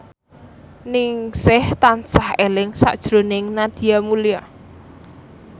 Ningsih tansah eling sakjroning Nadia Mulya